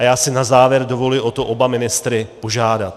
A já si na závěr dovoluji o to oba ministry požádat.